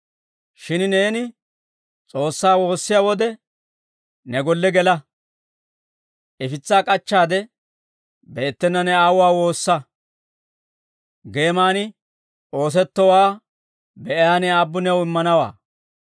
Shin neeni S'oossaa woossiyaa wode, ne golle gela; ifitsaa k'achchaade, beettena ne Aawuwaa woossa; geeman oosettowaa be'iyaa ne Aabbu new immanawaa.